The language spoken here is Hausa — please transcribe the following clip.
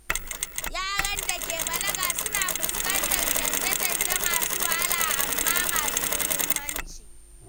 Yaran da ke balaga suna fuskantar canje-canje masu wahala amma masu muhimmanci.